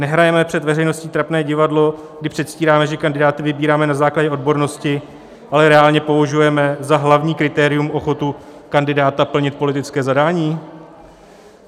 Nehrajeme před veřejností trapné divadlo, kdy předstíráme, že kandidáty vybíráme na základě odbornosti, ale reálně považujeme za hlavní kritérium ochotu kandidáta plnit politické zadání?